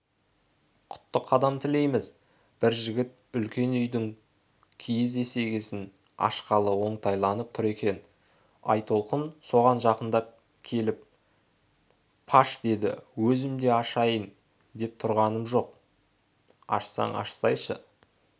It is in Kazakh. құтты қадам тілейміз бір жігіт үлкен үйдің киіз есігін ашқалы оңтайланып тұр екен айтолқын соған жақындап келіпаш деді өзім де ашайын деп тұрғаным жоқ па ашсаң ашсайшы